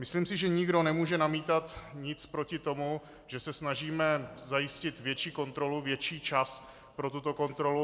Myslím si, že nikdo nemůže namítat nic proti tomu, že se snažíme zajistit větší kontrolu, větší čas pro tuto kontrolu.